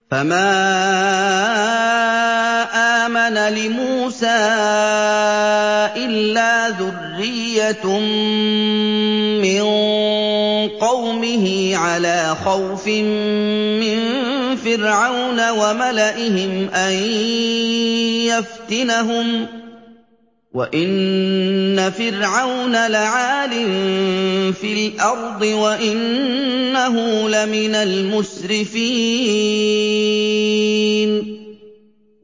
فَمَا آمَنَ لِمُوسَىٰ إِلَّا ذُرِّيَّةٌ مِّن قَوْمِهِ عَلَىٰ خَوْفٍ مِّن فِرْعَوْنَ وَمَلَئِهِمْ أَن يَفْتِنَهُمْ ۚ وَإِنَّ فِرْعَوْنَ لَعَالٍ فِي الْأَرْضِ وَإِنَّهُ لَمِنَ الْمُسْرِفِينَ